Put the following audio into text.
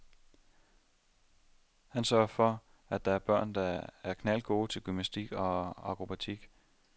Han sørger for, at det er børn, der er knaldgode til gymnastik og akrobatik.